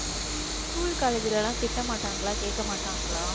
school, college ல எல்லாம் திட்ட மாட்டாங்களா கேட்க மாட்டாங்களா